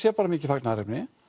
sé bara mikið fagnaðarefni